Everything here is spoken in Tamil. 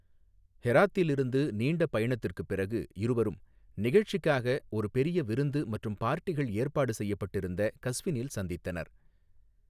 ஹெராத்தில் இருந்து நீண்ட பயணத்திற்குப் பிறகு, இருவரும், நிகழ்சிக்காக ஒரு பெரிய விருந்து மற்றும் பார்ட்டிகள் ஏற்பாடு செய்யப்பட்திருந்த கஸ்வினில் சந்தித்தனர்.